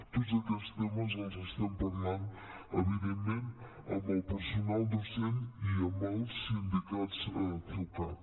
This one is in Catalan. tots aquests temes els estem parlant evidentment amb el personal docent i amb el sindicat ceucat